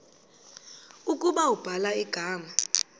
ukuba ubhala igama